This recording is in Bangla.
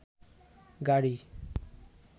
গাড়ি